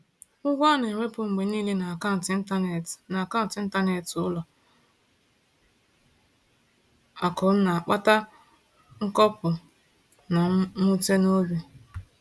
Ụgwọ a na-ewepụ mgbe niile n’akaụntụ ịntanetị n’akaụntụ ịntanetị ụlọ akụ m na-akpata nkoropụ na mwute n’obi.